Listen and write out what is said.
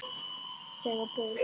brattan stíg að baugi